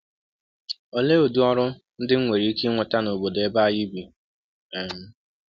Ọlee ụdị ọrụ ndị m nwere ike inweta n’ọbọdọ ebe anyị bi um?